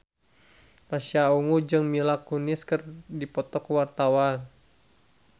Pasha Ungu jeung Mila Kunis keur dipoto ku wartawan